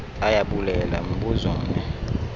ayabulela mbuzo mni